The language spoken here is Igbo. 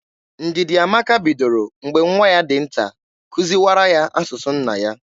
Ndidiamaka bidoro mgbe nwa ya dị nta kuziwara ya asụsụ nna ya.